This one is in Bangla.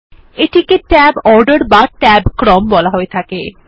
এটিকে tab অর্ডার বা ট্যাব ক্রম বলা হয়ে থাকে